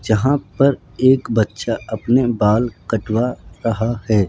यहां पर एक बच्चा अपने बाल कटवा रहा है।